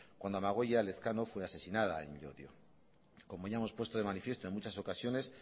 cuando amagoia elezkano fue asesinada en llodio como ya hemos puesto de manifiesto en muchas ocasiones